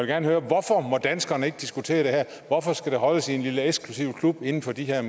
gerne høre hvorfor må danskerne ikke diskutere det her hvorfor skal det holdes i en lille eksklusiv klub inden for de her